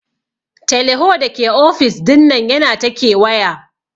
Teleho Dake ofis dinnan yana ta kewaya.